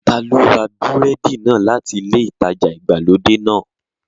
Ta ló ra búrẹ́dì náà láti ilé ìtajà ìgbàlódé náà?